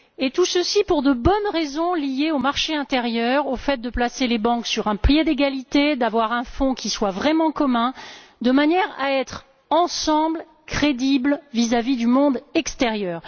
Tout ceci pour de bonnes raisons liées au marché intérieur, au fait de placer les banques sur un pied d'égalité, d'avoir un fonds qui soit vraiment commun, de manière à ce que nous soyons crédibles ensemble vis à vis du monde extérieur.